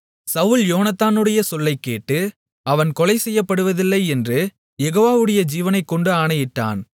சவுல் யோனத்தானுடைய சொல்லைக்கேட்டு அவன் கொலை செய்யப்படுவதில்லை என்று யெகோவாவுடைய ஜீவனைக்கொண்டு ஆணையிட்டான்